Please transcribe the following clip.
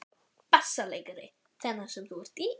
BASSALEIKARI: Þennan sem þú ert í?